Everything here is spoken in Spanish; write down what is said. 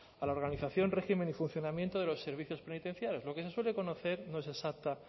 a la organización régimen y funcionamiento de los servicios penitenciarios lo que se suele conocer no es exacta